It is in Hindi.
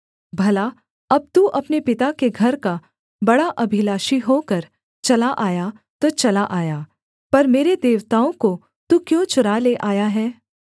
भला अब तू अपने पिता के घर का बड़ा अभिलाषी होकर चला आया तो चला आया पर मेरे देवताओं को तू क्यों चुरा ले आया है